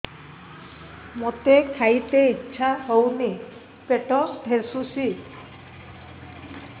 ମୋତେ ଖାଇତେ ଇଚ୍ଛା ହଉନି ପେଟ ଠେସୁଛି